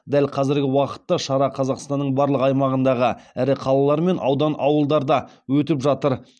дәл қазіргі уақытта шара қазақстанның барлық аймағындағы ірі қалалар мен аудан ауылдарда өтіп жатыр